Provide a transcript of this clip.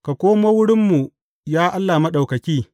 Ka komo wurinmu, ya Allah Maɗaukaki!